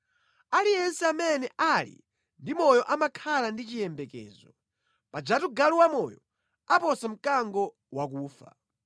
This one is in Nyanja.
Aliyense amene ali ndi moyo amakhala ndi chiyembekezo, pajatu galu wamoyo aposa mkango wakufa!